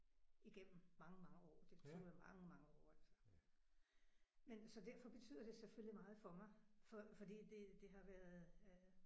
Igennem mange mange år det tog jo mange mange år altså. Men så derfor betyder det selvfølgelig meget for mig for fordi det det har været øh